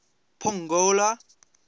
pongola